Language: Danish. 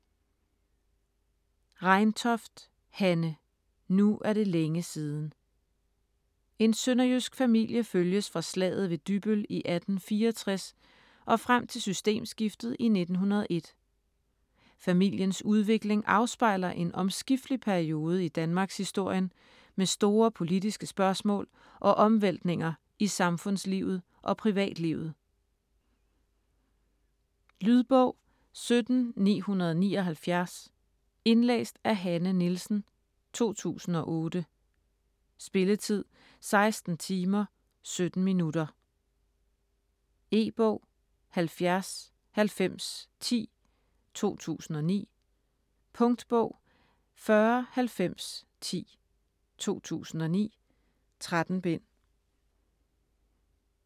Reintoft, Hanne: Nu er det længe siden En sønderjysk familie følges fra slaget ved Dybbøl i 1864 og frem til systemskiftet i 1901. Familiens udvikling afspejler en omskiftelig periode i Danmarkshistorien med store politiske spørgsmål og omvæltninger i samfundslivet og privatlivet. Lydbog 17979 Indlæst af Hanne Nielsen, 2008. Spilletid: 16 timer, 17 minutter. E-bog 709010 2009. Punktbog 409010 2009. 13 bind.